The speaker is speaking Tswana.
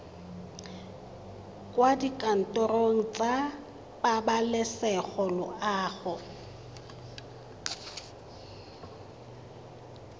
kwa dikantorong tsa pabalesego loago